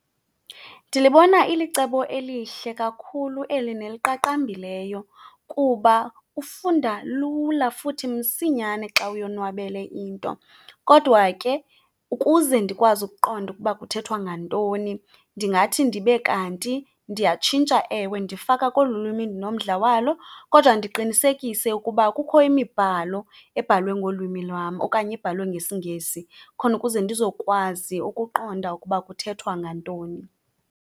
Ndilibona ilicebo elihle kakhulu eli neliqaqambileyo kuba ufunda lula futhi msinyane xa uyonwabele into. Kodwa ke, ukuze ndikwazi ukuqonda ukuba kuthethwa ngantoni, ndingathi ndibe kanti ndiyatshintsha, ewe, ndifaka kolu lwimi ndinomdla walo, kodwa ndiqinisekise ukuba kukho imibhalo ebhalwe ngolwimi lwam okanye ebhalwe ngesiNgesi khona ukuze ndizokwazi ukuqonda ukuba kuthethwa ngantoni.